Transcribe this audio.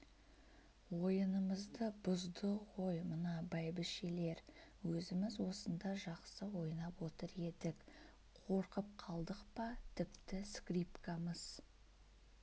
ойынымызды бұзды ғой мына бәйбішелер өзіміз осында жақсы ойнап отыр едік қорқып қалдық па тіпті скрипкамыз